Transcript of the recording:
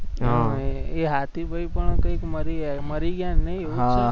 હમ એ હાથીભાઈ પણ કંઈક મરી ગયા મરી ગયા નઈ એવું જ કંઈક હતું ને હમ